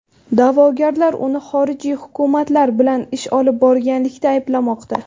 Da’vogarlar uni xorijiy hukumatlar bilan ish olib borganlikda ayblamoqda.